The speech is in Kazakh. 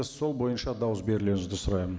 сол бойынша дауыс берулеріңізді сұраймын